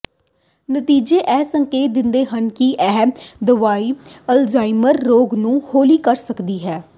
ਨਤੀਜੇ ਇਹ ਸੰਕੇਤ ਦਿੰਦੇ ਹਨ ਕਿ ਇਹ ਦਵਾਈ ਅਲਜ਼ਾਈਮਰ ਰੋਗ ਨੂੰ ਹੌਲੀ ਕਰ ਸਕਦੀ ਹੈ